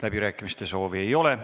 Läbirääkimiste soovi ei ole.